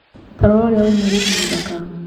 Tarora ũrĩa wĩ mũirĩtu mũthaka.